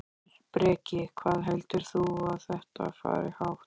Breki: Hvað heldur þú að þetta fari hátt?